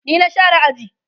ni na share aji